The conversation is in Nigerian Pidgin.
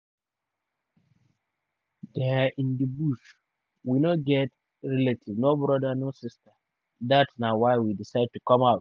dia in di bush we no get relative no brother no sister dat na why we decide to come out.